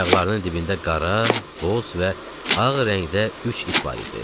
Ayaqlarının dibində qara, boz və ağ rəngdə üç it var idi.